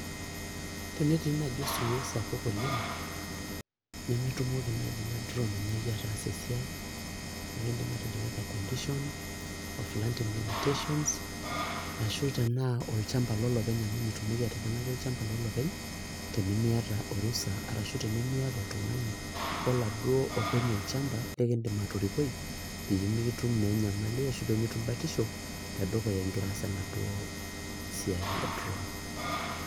Tenetii nai osiwuo sapuk oleng nemetumoki nai ina drone ainyaki ataasa esiai neaku indim atejo weather conditions ashu tanaolchamba lolopeny amu mitumoki olopeny tenemiata orusa liar oltungani loladuo openy olchamba likindim atorikoi pemeitum naa enyamali ashu pemitum batisho tedukuya ingira aas enaduo siai e drawn